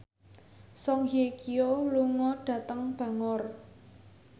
Song Hye Kyo lunga dhateng Bangor